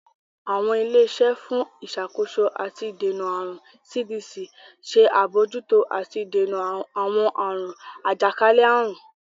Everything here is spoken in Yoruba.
Awọn ile-iṣẹ fún Ìṣàkóso ati Ìdènà Àrùn (CDC) ṣe abojuto àti ìdènà awọn àrùn ajakalẹ-àrun.